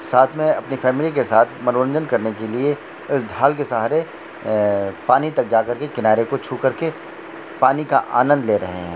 साथ मे अपनी फॅमिली के साथ मनोरंजन करने के लिए उस ढाल के सहारे पानी तक जा करके किनारे को छु करके पानी का आनंद ले रहे हे।